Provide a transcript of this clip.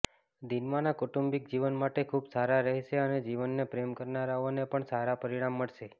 દીનમાના કૌટુંબિક જીવન માટે ખૂબ સારા રહેશે અને જીવનને પ્રેમ કરનારાઓને પણ સારા પરિણામ મળશે